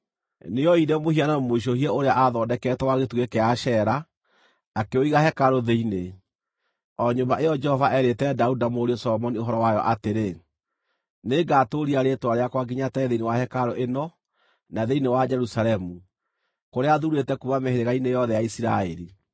Nĩooire mũhianano mũicũhie ũrĩa aathondekete wa gĩtugĩ kĩa Ashera, akĩũiga hekarũ thĩinĩ, o nyũmba ĩyo Jehova eerĩte Daudi na mũriũ Solomoni ũhoro wayo atĩrĩ, “Nĩngatũũria rĩĩtwa rĩakwa nginya tene thĩinĩ wa hekarũ ĩno na thĩinĩ wa Jerusalemu, kũrĩa thuurĩte kuuma mĩhĩrĩga-inĩ yothe ya Isiraeli.